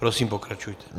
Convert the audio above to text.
Prosím, pokračujte.